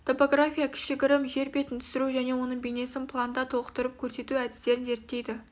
топография кішігірім жер бетін түсіру және оның бейнесін планда толықтырып көрсету әдістерін зерттейді